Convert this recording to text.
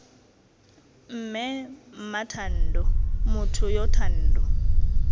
mme mmathando motho yo thando